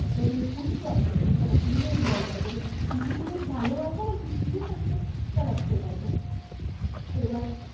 এবার পুলিশও আছে ওখানে পুলিশও involve আছে, এবার কিছু পুলিশ ভালোও আছে আবার কিছু পুলিশ হচ্ছে corrupted আছে, আচ্ছা তো এবার